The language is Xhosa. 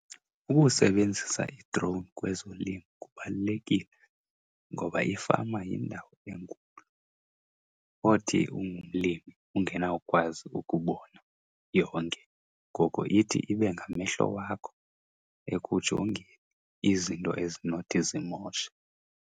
Ukusebenzisa i-drone kwezolimo kubalulekile ngoba ifama yindawo enkulu othi ungumlimi ungenawukwazi ukubona yonke. Ngoko ithi ibe ngamehlo wakho ekujongeni izinto ezinothi zimoshe.